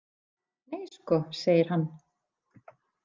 Nei sko, segir hann.